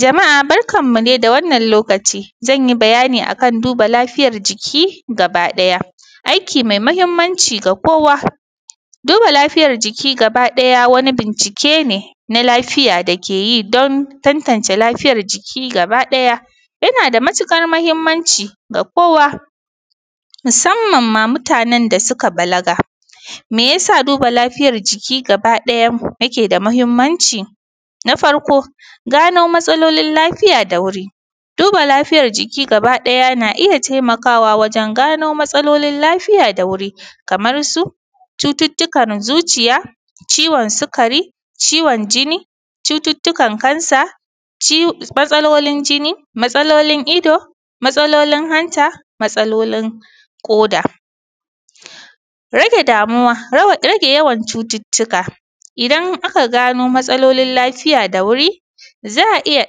Jama’a barkan mu dai da wannan lokaci, zan yi bayani akan duba lafiyar jiki gaba ɗaya. Aiki mai muhimmanci ga kowa, duba lafiyar jiki gaba ɗaya wani bincike ne na lafiya da ke yi don tantance lafiyar jiki gaba ɗaya, yana da matuƙar muhimmanci ga kowa, musamman mamutanen da suka balaga. Meyasa duba afiyar jiki gaba ɗaya yake da muhimmanci? na farko, gano matsalolin lafiya da wuri, duba lafiyar jiki gaba ɗaya na iya taimakawa wajen gano matsalolin lafiya da wuri, kamar su cututtukan zuciya, ciwon sukari, ciwon jini, cututtukan cancer, matsalolin jini, matsalolin ido, matsalolin hanta, matsalolin ƙoda. Rage yawan cututtuka, idan aka gano matsolilin lafiya da wuri, za a iya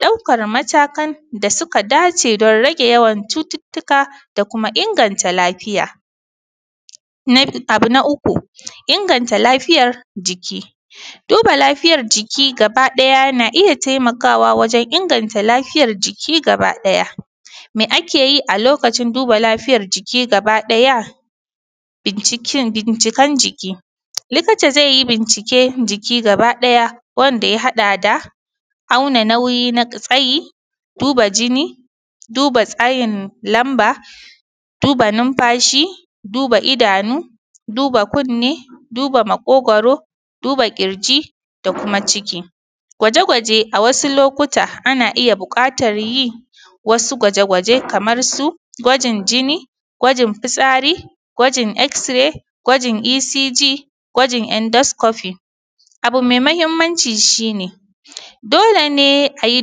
ɗaukar matakan da suka dace don rage yawan cututtuka da kuma inganta lafiya. Abu na uku, inganta lafiyar jiki, duba lafiyar jiki gaba ɗaya na iya taimakawa wajen inganta lafiyar jiki gaba ɗaya. Me akeyi a lokacin duba lafiyar jiki gaba ɗaya? bincikan jiki, likita zai yi binciken jiki gaba ɗaya, wanda ya haɗa da auna nauyi na tsayi, duba jini, duba tsayin lamba, duba numfashi, duba idanu, duba kunne, duba maƙogwaro, duba ƙirji da kuma ciki. Gwaje-gwaje a wasu lokuta, ana iya buƙatar yin wasu gwaje-gwaje kamar su gwajin jini, gwajin fitsari, gwajin x-ray, gwajin ECG, gwajin Endoscopy. Abu mai muhimmanci shi ne, dole ne a yi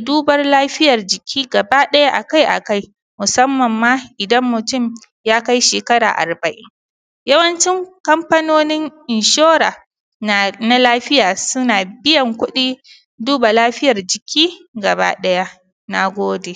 duban lafiyar jiki gaba ɗaya akai-akai, musamman ma idan mutum ya kai shekara arba’in. yawancin kamfanonin insurance na lafiya, suna biyan kuɗin duba lafiyar jiki gaba ɗaya, na gode.